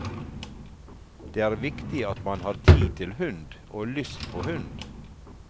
Det er viktig at man har tid til hund og lyst på hund.